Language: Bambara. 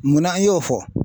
Munna an y'o fɔ?